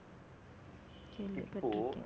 என்ன benefit